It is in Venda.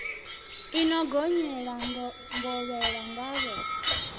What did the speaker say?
i no gonyela ngovhela ngavhe